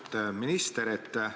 Austet minister!